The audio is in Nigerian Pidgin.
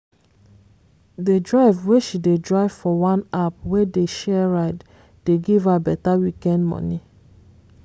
the drive wey she dey drive for one app wey dey share ride dey give her better weekend money.